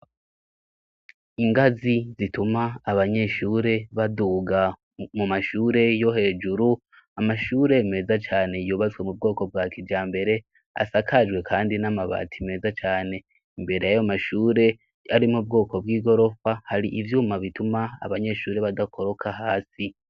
Ingazi zituma abanyeshure baduga mu mashure yo hejuru, amashure meza cane yubatswe mu bwoko bwa kijambere asakajwe kandi n'amabati meza cane, imbere yayo mashure ari mu bwoko bw'igorofa, hari ivyuma bituma abanyeshure badakoroka hasi.